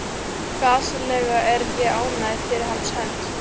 Gasalega er ég ánægð fyrir hans hönd.